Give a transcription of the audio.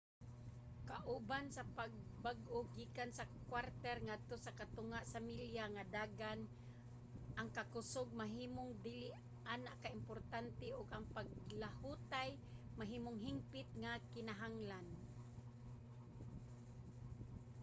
kauban sa pagbag-o gikan sa kwarter ngadto sa katunga sa milya nga dagan ang kakusog mahimong dili ana ka importante ug ang paglahutay mahimong hingpit nga kinahanglan